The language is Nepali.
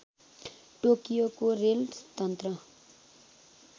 टोकियोको रेल तन्त्र